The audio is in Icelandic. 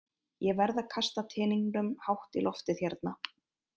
Ég verð að kasta teningnum hátt í loftið hérna.